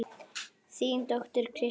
Þín dóttir, Kristín Elfa.